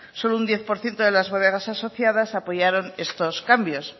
solo un diez por ciento de las bodegas asociadas apoyaron estos cambios